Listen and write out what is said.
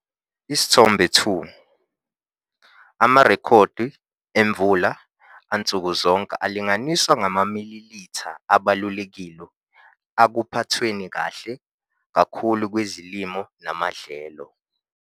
Isithombe 2- Amarekhodi emvula ansuku zonke alinganiswa ngamamililitha abalulekile akuphathweni kahle kakhulu kwezilimo namadlelo.